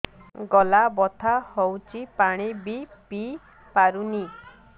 ଗଳା ବଥା ହଉଚି ପାଣି ବି ପିଇ ପାରୁନି